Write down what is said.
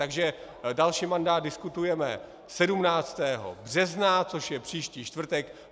Takže další mandát diskutujeme 17. března, což je příští čtvrtek.